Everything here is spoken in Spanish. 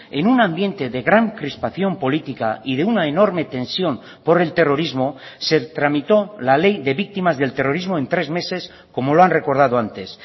en un ambiente de gran crispación política y de una enorme tensión por el terrorismo se tramitó la ley de víctimas del terrorismo en tres meses como lo han recordado antes